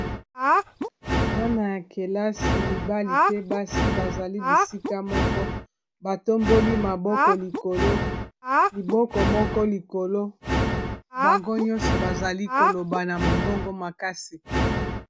Bana ya kelasi mibali pe basi bazali bisika moko batomboli maboko likolo liboko moko likolo bango nyonso bazali koloba na mongongo makasi.